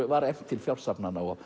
var efnt til fjársafnana og